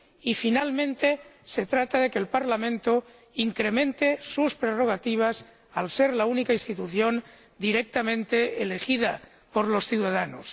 Y, finalmente, se trata de que el Parlamento incremente sus prerrogativas, al ser la única institución directamente elegida por los ciudadanos.